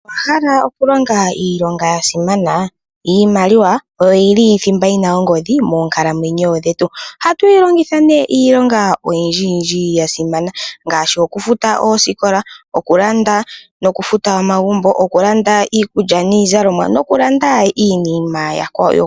Owahala okulonga iilonga yasimana . Iimaliwa oyo yili thimba yina ongodhi moonkalamwenyo dhetu . Ohatu yi longitha iilonga oyindji yasimana ngaashi okufuta oosikola ,okulanda nokufuta omagumbo ,okulanda iikulya niizalomwa nokulanda iinima iikwawo.